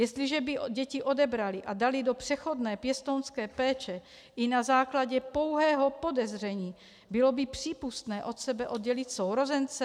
Jestliže by děti odebraly a daly do přechodné pěstounské péče i na základě pouhého podezření, bylo by přípustné od sebe oddělit sourozence?